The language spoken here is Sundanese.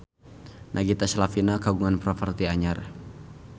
Nagita Slavina kagungan properti anyar